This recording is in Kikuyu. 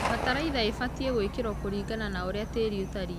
Bataraitha ĩbatie gũĩkĩrio kũringana na ũrĩa tĩri ũtarĩe.